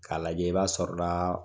K'a lajɛ , b'a sɔrɔ la